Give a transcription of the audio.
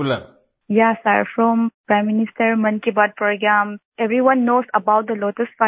Vijayashanti ji yes sir from prime minister Mann Ki Baat programme everyone knows about lotus fibre